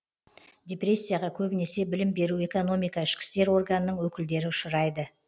депрессияға көбінесе білім беру экономика ішкі істер органының өкілдері ұшырайды